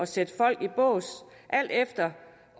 sætte folk i bås alt efter